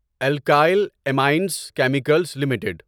alkyl Amines Chemicals limited